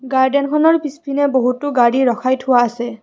গাৰ্ডেনখনৰ পিছপিনে বহুতো গাড়ী ৰখাই থোৱা আছে।